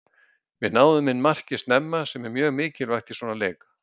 Við náðum inn marki snemma sem er mjög mikilvægt í svona leik.